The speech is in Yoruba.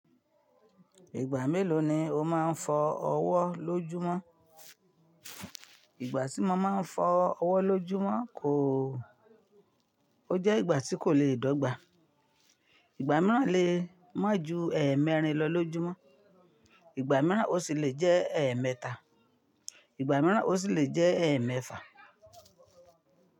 Ìgbà mélòó ni o máa ń fọ ọwọ́ lójúmọ́? Ìgbà tí mo máa ń fọ ọwọ́ lójúmọ́ kòó o jẹ́ ìgbà tí kò le è dọ́gba. Ìgbà mìíràn le mọ́ ju ẹ̀ẹ̀mẹrin lọ lójúmọ́. Ìgbà mìíràn ó sì le jẹ́ ẹ̀ẹ̀mẹta. Ìgbà mìíràn ó sì le jẹ́ ẹ̀ẹ̀mẹ́fà.